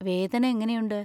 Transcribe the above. വേദന എങ്ങനെയുണ്ട്?